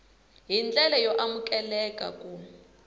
hi ndlela yo amukeleka ku